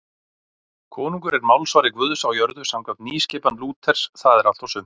Konungur er málsvari Guðs á jörðu samkvæmt nýskipan Lúters, það er allt og sumt.